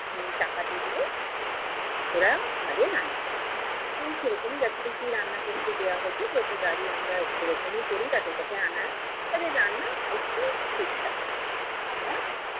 টাকা দিয়ে দিলে ওরা আমাদের রান্না করে দেয়। উম সে রকমই যথারীতি রান্না করতে দেয়া হয়েছে প্রতিবারই আমরা এরকমই করি তাদের কাছে আনার। তাদের রান্না অতি সুস্বাদু।